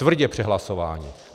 Tvrdě přehlasováni.